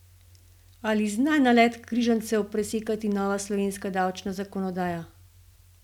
Ali zna nalet križancev presekati nova slovenska davčna zakonodaja?